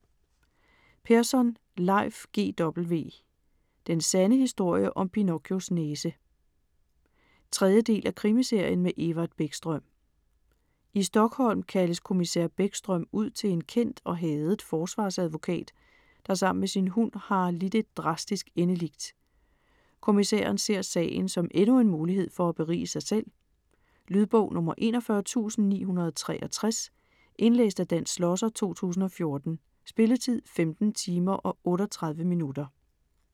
Persson, Leif G. W.: Den sande historie om Pinocchios næse 3. del af krimiserien med Evert Bäckström. I Stockholm kaldes kommissær Bäckström ud til en kendt og hadet forsvarsadvokat, der sammen med sin hund har lidt et drastisk endeligt. Kommissæren ser sagen som endnu en mulighed for at berige sig selv. Lydbog 41963 Indlæst af Dan Schlosser, 2014. Spilletid: 15 timer, 38 minutter.